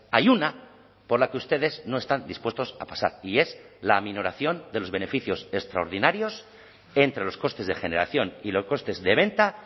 hay una por la que ustedes no están dispuestos a pasar y es la minoración de los beneficios extraordinarios entre los costes de generación y los costes de venta